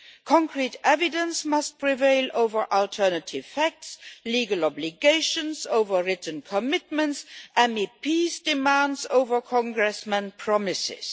Concrete evidence must prevail over alternative facts, legal obligations over written commitments, MEPs' demands over Congressmen's promises.